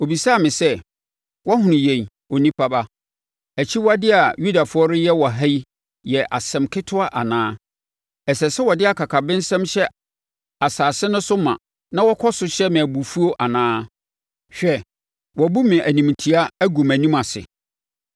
Ɔbisaa me sɛ, “Woahunu yei, onipa ba? Akyiwadeɛ a Yudafoɔ reyɛ wɔ ha yi yɛ asɛm ketewa anaa? Ɛsɛ sɛ wɔde akakabensɛm hyɛ asase no so ma na wɔkɔ so hyɛ me abufuo anaa? Hwɛ, wɔabu me animtia agu mʼanim ase!